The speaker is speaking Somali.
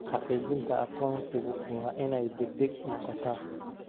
Xaqiijinta aqoonsigu waa inay degdeg noqotaa.